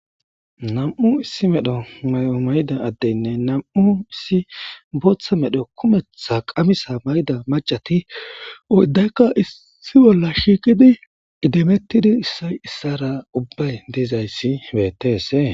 Nam7u issi medho mayida addenne nam7u issi booththa medho kumeththa qamisaa maayida maccathi ooddaykka issi bolla shiiqidi idimeththidi issay issaaraa ubbay dizayssi beeththeesii.